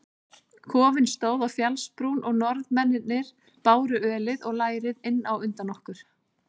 Kofinn stóð á fjallsbrún og Norðmennirnir báru ölið og lærið inn á undan okkur.